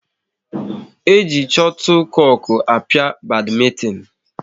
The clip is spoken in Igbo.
E ji chotlekoku a pịa badmintin